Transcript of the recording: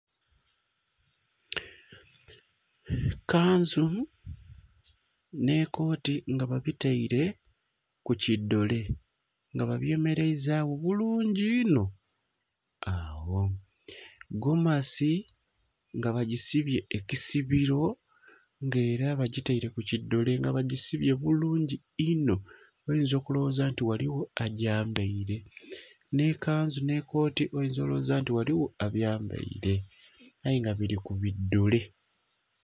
Kanzu nh'ekooti nga babitaile ku ki dole nga babyemeleizagho bulungi inho. Agho, gomasi nga bagisibye ekisibiro, nga era bakitaire ku ki dole nga bagisibye bulungi inho. Oyinza okulowoza nti ghaligho agyambaile. Nh'ekanzu nh'ekooti oyinza olowoza nti ghaligho abyambaile, aye nga bili ku bi dole.